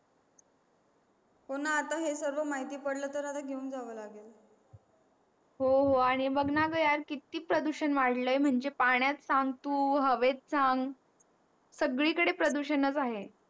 हो ना आता हे सगळं माहिती पडलं तर आता ठेवा लागेल हो हो आणि बघ ना गं यात किती प्रदूषण वाढलंय म्हणजे पाण्यात सांग तू हवेत सांग सगळीकडेच प्रदूषण आहेच